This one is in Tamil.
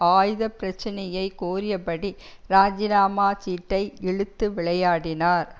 ஆயுத பிரச்சினையை கோரிய படி இராஜினாமா சீட்டை இழுத்து விளையாடினார்